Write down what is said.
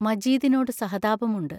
മജീദിനോടു സഹതാപമുണ്ട്.